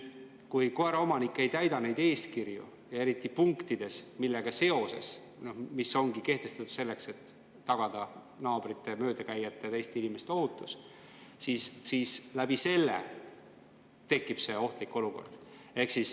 Kui koeraomanik ei täida neid eeskirju, eriti punkte, mis on kehtestatud selleks, et tagada naabrite ja möödakäijate, teiste inimeste ohutus, siis tekibki ohtlik olukord.